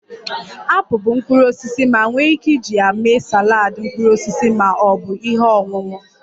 Apụl bụ mkpụrụ osisi ma nwee ike iji ya mee saladị mkpụrụ osisi ma ọ bụ ihe ọṅụṅụ